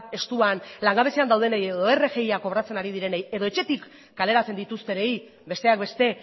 estuan langabezian daudenei edo rgia kobratzen ari direnei edo etxetik kaleratzen dituztenei besteak beste